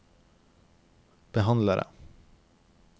behandlere